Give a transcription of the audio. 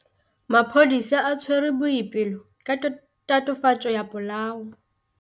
Maphodisa a tshwere Boipelo ka tatofatsô ya polaô.